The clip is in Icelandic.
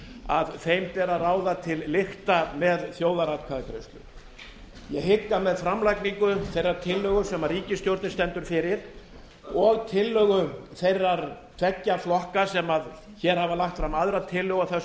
að þeim ber að ráða til lykta með þjóðaratkvæðagreiðslu ég hygg að með framlagningu þeirrar tillögu sem ríkisstjórnin stendur fyrir og tillögu þeirra tveggja flokka sem hér hafa lagt fram aðra tillögu á þessu